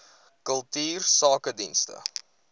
kultuursakedienste